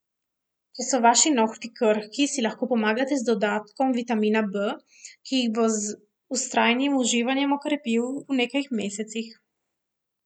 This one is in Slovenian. Če so vaši nohti krhki, si lahko pomagate z dodatkom vitamina B, ki jih bo z vztrajnim uživanjem okrepil v nekaj mesecih.